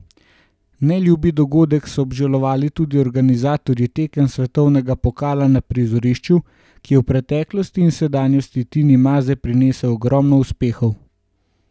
Neljubi dogodek so obžalovali tudi organizatorji tekem svetovnega pokala na prizorišču, ki je v preteklosti in sedanjosti Tini Maze prinesel ogromno uspehov.